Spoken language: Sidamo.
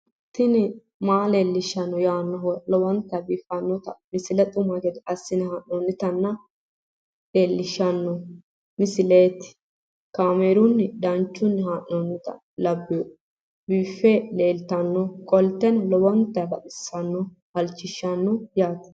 tini maa leelishshanno yaannohura lowonta biiffanota misile xuma gede assine haa'noonnita leellishshanno misileeti kaameru danchunni haa'noonni lamboe biiffe leeeltannoqolten lowonta baxissannoe halchishshanno yaate